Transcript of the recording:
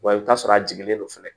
Wa i bɛ t'a sɔrɔ a jiginlen don fɛnɛ